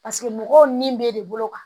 Paseke mɔgɔw ni bɛ de bolo kan